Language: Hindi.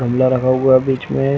गमला रखा हुआ है बीच में--